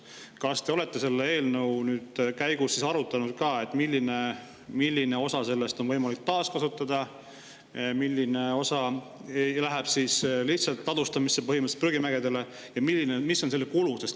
Kas te olete selle eelnõu käigus arutanud, millist osa neist on võimalik taaskasutada, milline osa läheb põhimõtteliselt ladustamiseks prügimäele ja mis on selle kulu?